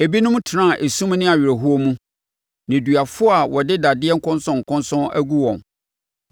Ebinom tenaa esum ne awerɛhoɔ mu, nneduafoɔ a wɔde dadeɛ nkɔnsɔnkɔnsɔn agu wɔn,